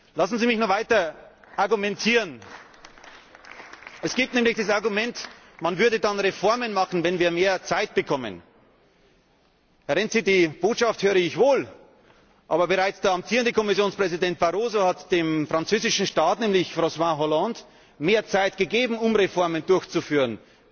Lassen Sie mich noch weiter argumentieren. Es gibt nämlich das Argument, man würde dann Reformen machen, wenn wir mehr Zeit bekommen. Herr Renzi, die Botschaft höre ich wohl, aber bereits der amtierende Kommissionspräsident Barroso hat dem französischen Staatspräsidenten Francois Hollande mehr Zeit gegeben, um Reformen durchzuführen.